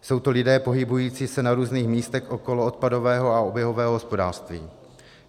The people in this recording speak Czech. Jsou to lidé pohybující se na různých místech okolo odpadového a oběhového hospodářství.